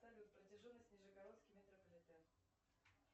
салют протяженность нижегородский метрополитен